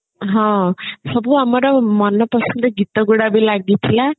ହଁ ସବୁ ମର ମନ ପସନ୍ଦ ଗୀତ ଗୁଡା ବି ଲାଗିଥିଲା